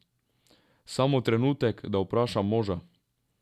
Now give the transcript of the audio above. Samo trenutek, da vprašam moža ...